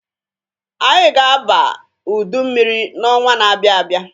Anyị ga-aba udu mmiri n'ọnwa na-abia abịa.